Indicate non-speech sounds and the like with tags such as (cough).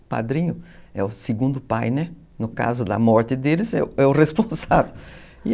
O padrinho é o segundo pai, né, no caso da morte deles, (laughs) é o responsável.